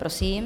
Prosím.